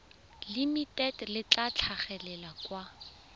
limited le tla tlhagelela kwa